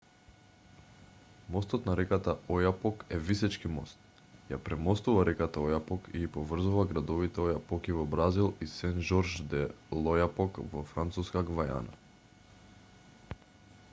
мостот на реката ојапок е висечки мост ја премостува реката ојапок и ги поврзува градовите ојапоки во бразил и сен жорж де л'ојапок во француска гвајана